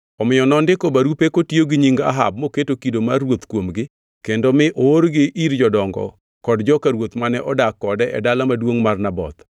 Omiyo nondiko barupe kotiyo gi nying Ahab moketo kido mar ruoth kuomgi kendo mi oorgi ir jodongo kod joka ruoth mane odak kode e dala maduongʼ mar Naboth.